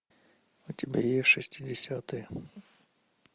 у тебя есть шестидесятые